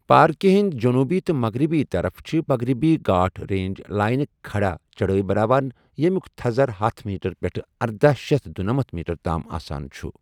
پارکہِ ہنٛد جنُوبی تہٕ مغربی طرف چھِ مغربی گھاٹ ریج لائنٕک کھَڑا چَڑٲے بناوان، یمیُک تھزر ہتھَ میٹر پٮ۪ٹھ ارداہ شیتھ دُنمتھ میٹر تام آسان چھُ ۔